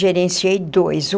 Gerenciei dois.